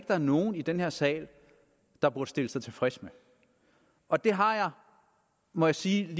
der er nogen i den her sal der burde stille sig tilfreds med og det har jeg må jeg sige